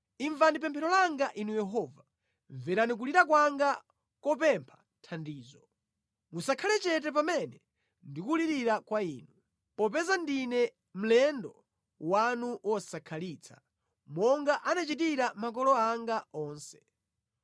“Imvani pemphero langa Inu Yehova, mverani kulira kwanga kopempha thandizo; musakhale chete pamene ndikulirira kwa Inu, popeza ndine mlendo wanu wosakhalitsa; monga anachitira makolo anga onse.